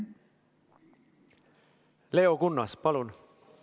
Leo Kunnas, palun!